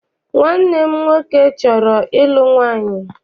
Nwanne m nwoke chọrọ ịlụ nwaanyị.